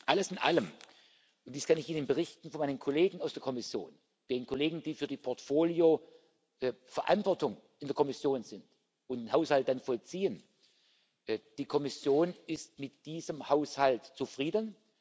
Alles in allem dies kann ich Ihnen berichten von meinen Kollegen aus der Kommission, den Kollegen, die für die Portfolios verantwortlich sind und den Haushalt dann vollziehen Die Kommission ist mit diesem Haushalt zufrieden.